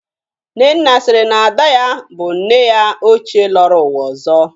Nnenna siri na Ada ya bụ nne ya ochie lọrọ ụwa ọzọ.